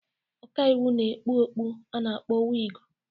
Ọka iwu na-ekpu okpu a na-akpọ wịgụ.